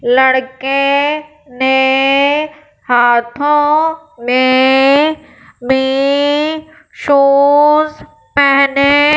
लड़के ने हाथों में भी शूज पेहने--